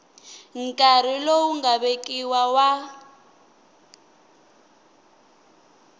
nkarhi lowu nga vekiwa wa